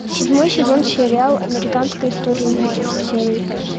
седьмой сезон сериала американская история ужасов серия пять